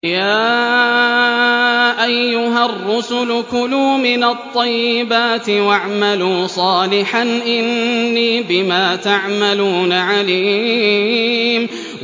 يَا أَيُّهَا الرُّسُلُ كُلُوا مِنَ الطَّيِّبَاتِ وَاعْمَلُوا صَالِحًا ۖ إِنِّي بِمَا تَعْمَلُونَ عَلِيمٌ